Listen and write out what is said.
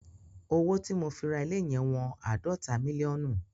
Owó tí mo fi ra ilé yẹn wọn àádọ́ta mílíọ̀nù.